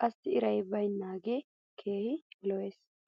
qassi iray baynaagee keehi lo'es.